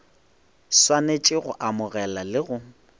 swanetše go amogela le go